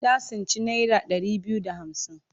Ta tsinci naira ɗari biyu da hamsin.